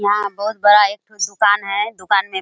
यहाँ बहोत बड़ा एक ठो दुकान है दुकान में --